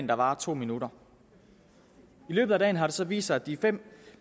der varer to minutter i løbet af dagen har det så vist sig at de fem